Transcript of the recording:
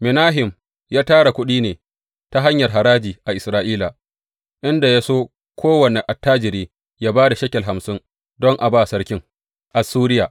Menahem ya tara kuɗin ne ta hanyar haraji a Isra’ila inda ya sa kowane attajiri ya ba da shekel hamsin don a ba sarkin Assuriya.